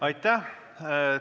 Aitäh!